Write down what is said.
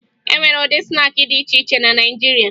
E nwere ụdị snaakị dị iche iche na Naịjirịa